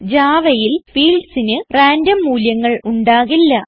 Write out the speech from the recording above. Javaയിൽ fieldsന് റാൻഡം മൂല്യങ്ങൾ ഉണ്ടാകില്ല